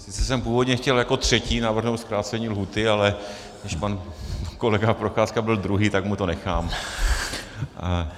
Sice jsem původně chtěl jako třetí navrhnout zkrácení lhůty, ale když pan kolega Procházka byl druhý, tak mu to nechám.